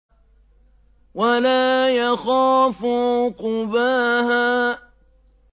وَلَا يَخَافُ عُقْبَاهَا